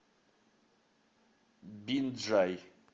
бинджай